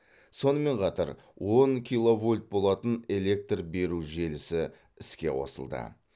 сонымен қатар он киловольт болатын электр беру желісі іске қосылды